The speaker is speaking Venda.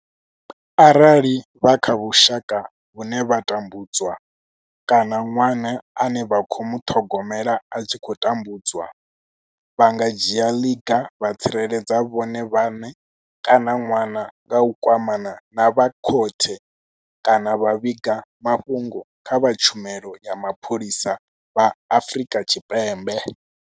Arali vha kha vhusha ka vhune vha tambudzwa kana ṅwana ane vha khou muṱhogomela a tshi khou tambudzwa, vha nga dzhia ḽiga vha tsireledza vhone vhaṋe kana ṅwana nga u kwamana na vha khothe kana vha vhiga mafhungo kha vha Tshumelo ya Mapholisa vha Afrika Tshipembe.